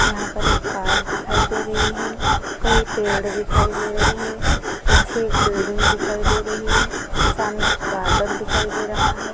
यहा पर एक कार दिखाई दे रही है। कई पेड़ दिखाई दे रहे है। पीछे एक बिल्डिंग दिखाई दे रही है। सामने गार्डन दिखाई दे रहा है।